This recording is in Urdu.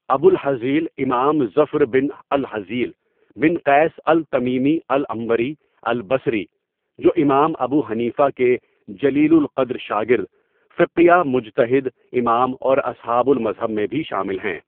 ابو الہذیل امام زفر بن الہذیل بن قيس التمیمی العنبری البصری جو امام ابو حنیفہ کے جلیل القدر شاگرد، فقیہ، مجتہد، امام اوراصحاب المذہب میں بھی شامل ہیں.